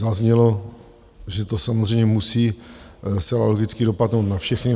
Zaznělo, že to samozřejmě musí zcela logicky dopadnout na všechny.